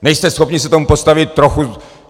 Nejste schopni se tomu postavit trochu...